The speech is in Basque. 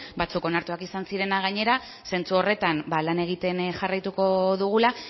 batzuk onartuak izan zirenak gainera zentzu horretan lan egiten jarraituko dugula